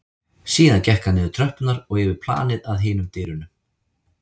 Síðan gekk hann niður tröppurnar og yfir planið að hinum dyrunum.